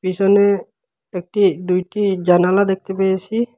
পিছনে একটি দুইটি জানালা দেখতে পেয়েছি।